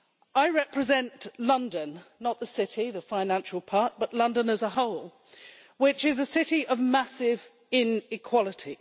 I represent London not the City, the financial part, but London as a whole which is a city of massive inequality.